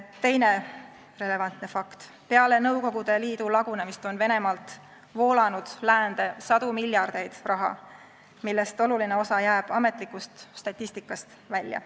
Teine relevantne fakt: peale Nõukogude Liidu lagunemist on Venemaalt voolanud läände sadu miljardeid, millest oluline osa jääb ametlikust statistikast välja.